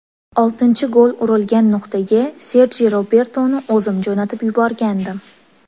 Oltinchi gol urilgan nuqtaga Serji Robertoni o‘zim jo‘natib yuborgandim.